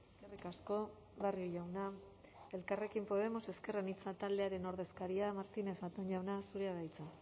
eskerrik asko barrio jauna elkarrekin podemos ezker anitza taldearen ordezkaria martínez zatón jauna zurea da hitza